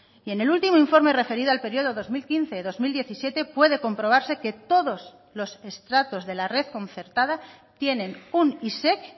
y en el último informe referido al periodo dos mil quince dos mil diecisiete puede comprobarse que todos los estratos de la red concertada tienen un isec